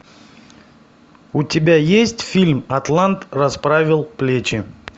у тебя есть фильм атлант расправил плечи